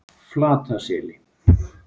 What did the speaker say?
Flataseli